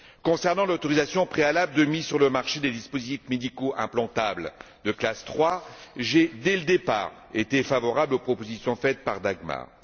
Concernant l'autorisation préalable de mise sur le marché des dispositifs médicaux implantables de classe 3, j'ai, dès le départ, été favorable aux propositions faites par Mme Roth Behrendt.